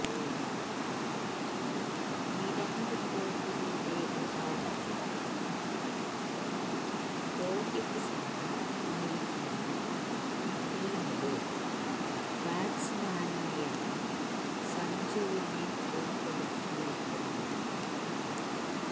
വിരാട് കോഹ്ലിയുടെ അഭാവത്തില് രോഹിത് ശര്മ നയിക്കുന്ന ടീമില് ബാറ്റ്സ്മാനായാണ് സഞ്ജുവിനെ ഉള്പ്പെടുത്തിയിരിക്കുന്നത്